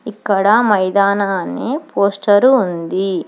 ఇక్కడ మైదనాన్ని పోస్టరు ఉంది.